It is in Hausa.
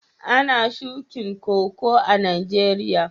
Ana shukin Koko a'Nijeriya?